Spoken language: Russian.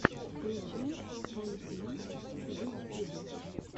включай фантим в ютьюбе